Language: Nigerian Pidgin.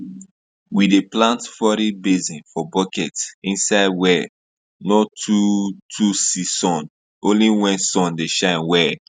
we dey plant foreign basil for bucket inside wey no too too see sun only when sun dey shine well